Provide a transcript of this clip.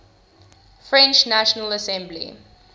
french national assembly